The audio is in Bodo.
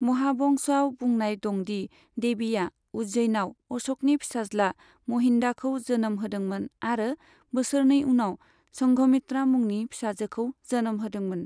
महावंशआव बुंनाय दंदि देबिआ उज्जैनाव अशकनि फिसाज्ला महिन्दाखौ जोनोम होदोंमोन आरो बोसोरनै उनाव संघमित्रा मुंनि फिसाजोखौ जोनोम होदोंमोन।